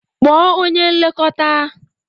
Kpọọ onye nlekọta.